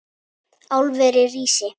Álverið rísi!